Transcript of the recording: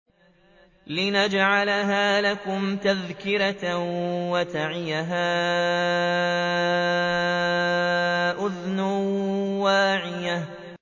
لِنَجْعَلَهَا لَكُمْ تَذْكِرَةً وَتَعِيَهَا أُذُنٌ وَاعِيَةٌ